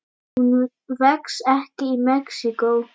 Hún vex ekki í Mexíkó.